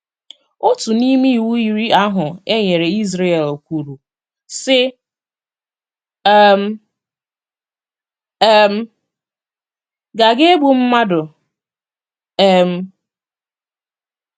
Otu n’ime Iwu Iri ahụ e nyere Izrel kwuru, sị: um “ um Ị Gaghi egbu mmadụ um. ”